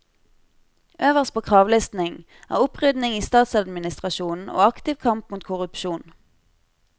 Øverst på kravlisten er opprydning i statsadministrasjonen og aktiv kamp mot korrupsjon.